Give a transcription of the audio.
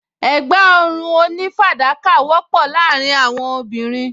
Ẹ̀gbá ọrùn onífàdákà wọ́pọ̀ láàárín àwọn obìnrin